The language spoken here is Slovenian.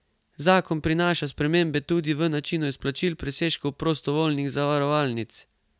Zakon prinaša spremembe tudi pri načinu izplačil presežkov prostovoljnih zavarovalnic.